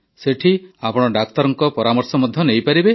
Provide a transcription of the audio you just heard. ସେଠାରେ ଆପଣ ଡାକ୍ତରଙ୍କ ପରାମର୍ଶ ମଧ୍ୟ ନେଇପାରିବେ